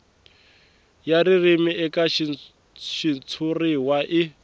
ya ririmi eka xitshuriwa i